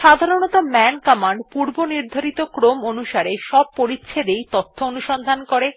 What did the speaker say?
সাধারনতঃ মান কমান্ড পূর্বনির্ধারিত ক্রম অনুসারে সব পরিচ্ছেদ এই অনুসন্ধান করে